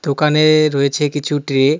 দোকানে রয়েছে কিছু ট্রে ।